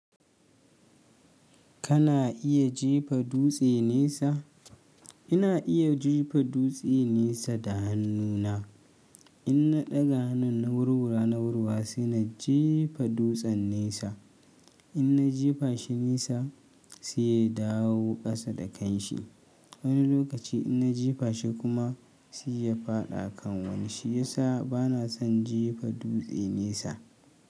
Kana iya jefa dutse nesa? Ina iya jefa dutse nesa da hannuna. In na ɗaga hannun na wurwura na ruwa sai na jefa dutsen nesa. In na jefa shi nesa sai ya dawo ƙasa da kanshi. Wani lokaci in na jefa shi kuma sai ya faɗa a kan wani shiyasa bana son jefa dutse nesa.